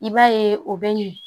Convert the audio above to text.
I b'a ye o bɛ ɲɛ